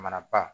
Mana ba